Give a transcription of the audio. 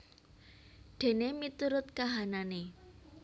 Dene miturut kahanane